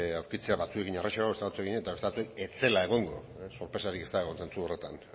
aurkitzea batzuekin errazago ez beste batzuekin eta beste batzuekin ez zela egongo sorpresarik ez dago zentzu horretan